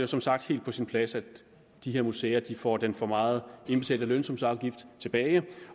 som sagt helt på sin plads at de her museer får den for meget indbetalte lønsumsafgift tilbage